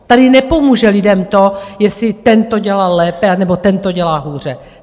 Tady nepomůže lidem to, jestli ten to dělal lépe, anebo ten to dělá hůře.